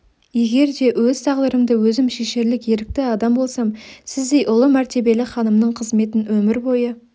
егер де өз тағдырымды өзім шешерлік ерікті адам болсам сіздей ұлы мәртебелі ханымның қызметін өмір бойы